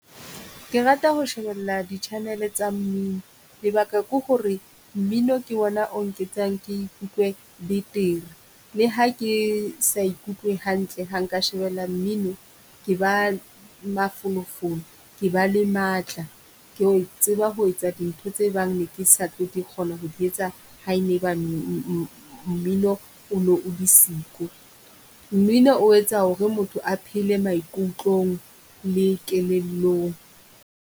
Ke rata ho shebella di channel-e tsa mmino, lebaka ke ho re mmino ke ona o nketsang ke ikutlwe betere. Le ha ke sa ikutlwe hantle ha nka shebella mmino, ke ba mafolofolo, ke ba le matla. Ke tseba ho etsa dintho tse bang ne ke sa tlo kgona ho di etsa, ha e ne ba mmino ono o le siko. Mmino o etsa ho re motho a phele maikutlong le kelellong.